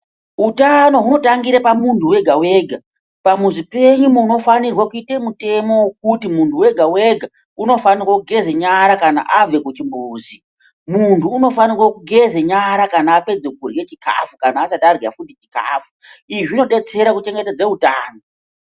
Utano hunongotangire pamuntu wega wega pamuzi penyu munofanirwe kuite mutemo wekuti munhu wega wega unofanirwa kugeze nyara kana abve kuchimbuzi muntu unofanirwe kugeza nyara kana apedza kudya chikafu kana kuti asati adya chikafu izvi zvinobetsera kuchengetedza utano.